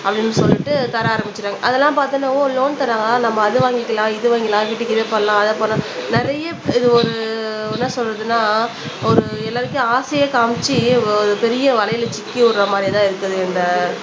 அப்படின்னு சொல்லிட்டு தர ஆரம்பிச்சுட்டாங்க அதெல்லாம் பார்த்த உடனே ஓ லோன் தராங்களாம் நம்ம அதை வாங்கிக்கலாம் இது வாங்கிக்கலாம் வீட்டுக்கு இதை பண்ணலாம் அதை நிறைய இது ஒரு என்ன சொல்றதுன்னா ஒரு எல்லார்கிட்டயும் ஆசையை காமிச்சு ஒரு பெரிய வலையில சிக்கி விடுற மாதிரிதான் இருக்குது இந்த